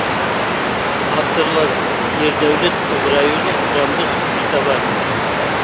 авторлары ердәулет ыбырайұлы жандос битабаров